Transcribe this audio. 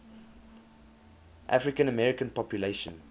african american population